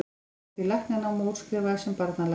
Hann hóf því læknanám og útskrifaðist sem barnalæknir.